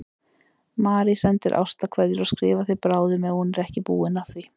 Marie sendir ástarkveðjur og skrifar þér bráðum ef hún er ekki búin að því.